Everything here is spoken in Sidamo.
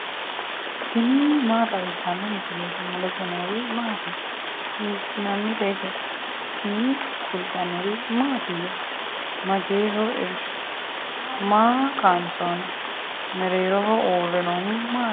tini maa xawissanno misileeti ? mulese noori maati ? hiissinannite ise ? tini kultannori mattiya? Mageeho irishu? Maa kaansoonni? Mereerroho uure noohu maatti?